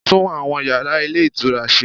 Tún àwọn yàrá Ilé Ìtura se